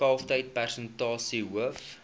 kalftyd persentasie hoof